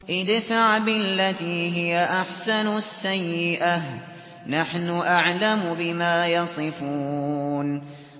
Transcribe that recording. ادْفَعْ بِالَّتِي هِيَ أَحْسَنُ السَّيِّئَةَ ۚ نَحْنُ أَعْلَمُ بِمَا يَصِفُونَ